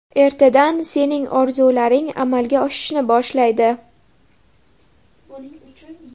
Ertadan sening orzularing amalga oshishni boshlaydi.